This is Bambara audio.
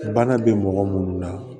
Bana bɛ mɔgɔ munnu na